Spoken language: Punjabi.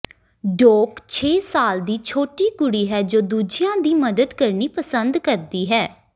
ਡੌਕ ਛੇ ਸਾਲ ਦੀ ਛੋਟੀ ਕੁੜੀ ਹੈ ਜੋ ਦੂਜਿਆਂ ਦੀ ਮਦਦ ਕਰਨੀ ਪਸੰਦ ਕਰਦੀ ਹੈ